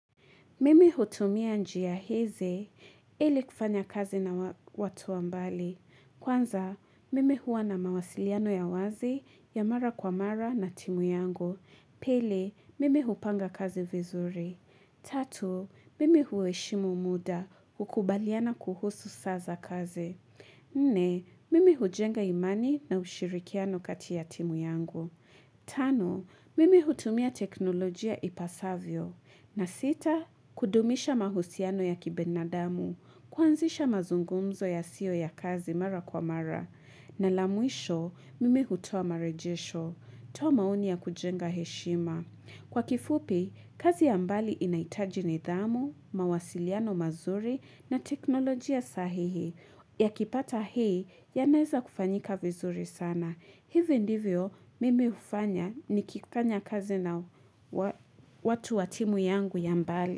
Mimi hutumia njia hizi ili kufanya kazi na watu wa mbali kwanza mimi huwa na mawasiliano ya wazi ya mara kwa mara na timu yangu pili mimi hupanga kazi vizuri tatu mimi hueshimu muda hukubaliana kuhusu saa za kazi nne mimi hujenga imani na ushirikiano kati ya timu yangu tano mimi hutumia teknolojia ipasavyo na sita kudumisha mahusiano ya kibinadamu kuanzisha mazungumzo yasiyo ya kazi mara kwa mara na la mwisho mimi hutoa marejesho toa maoni ya kujenga heshima kwa kifupi kazi ya mbali inahitaji nidhamu mawasiliano mazuri na teknolojia sahihi yakipata hii yanaeza kufanyika vizuri sana hivi ndivyo mimi hufanya nikikanya kazi na watu wa timu yangu ya mbali.